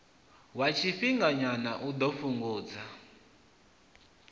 wa tshifhinganyana u ḓo fhungudza